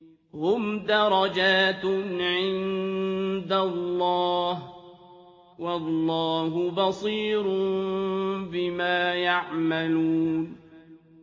هُمْ دَرَجَاتٌ عِندَ اللَّهِ ۗ وَاللَّهُ بَصِيرٌ بِمَا يَعْمَلُونَ